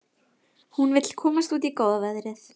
Hún vill komast út í góða veðrið.